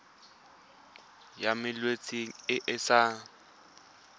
ya malwetse a a sa